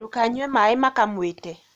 Ndũkanyue maĩ makwamĩte